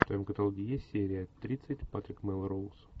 в твоем каталоге есть серия тридцать патрик мелроуз